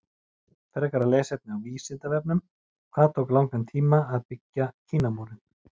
Frekara lesefni á Vísindavefnum: Hvað tók langan tíma að byggja Kínamúrinn?